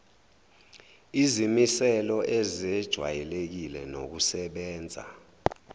izimiselo ezejwayelekile nokusebenza